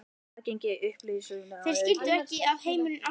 Aðgengi að upplýsingum aukið